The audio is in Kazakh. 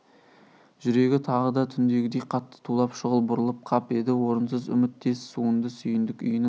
жүрегі тағы да түндегідей қатты тулап шұғыл бұрылып қап еді орынсыз үміт тез суынды сүйіндік үйінің